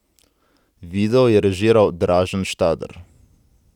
Video je režiral Dražen Štader.